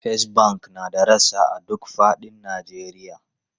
First Bank na da rassa a duk fadin Najeriya.